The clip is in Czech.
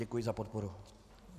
Děkuji za podporu.